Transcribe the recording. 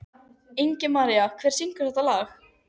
Ingimaría, hver syngur þetta lag?